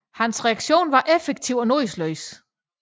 Hans reaktion var effektiv og nådesløs